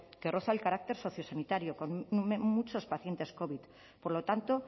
que roza el carácter sociosanitario con muchos pacientes covid por lo tanto